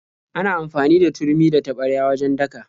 Ana amfani da turmi da taɓarya wajen daka.